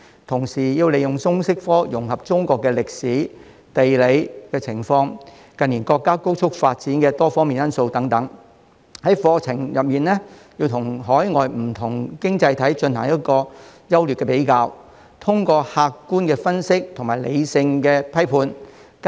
同時，要利用通識科融合中國歷史和地理情況，以及近年國家高速發展的多方面因素等，在課程中與海外不同經濟體進行優劣的比較，並作出客觀分析和理性批判。